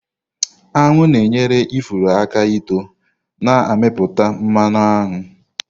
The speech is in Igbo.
Aṅụ na-enyere ifuru aka ító na-amịpụta mmanụ aṅụ.